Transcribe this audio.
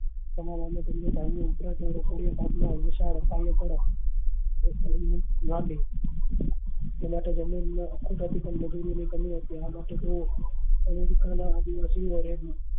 વિશાળ પેલા તો જમીન માં મજુરી ની કમી હતી આ માટે તે america